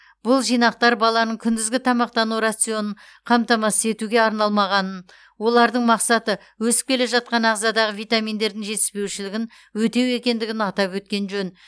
бұл жинақтар баланың күндізгі тамақтану рационын қамтамасыз етуге арналмағанын олардың мақсаты өсіп келе жатқан ағзадағы витаминдердің жетіспеушілігін өтеу екендігін атап өткен жөн